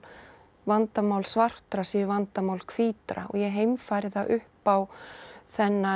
vandamál svartra séu vandamál hvítra og ég heimfæri það upp á þennan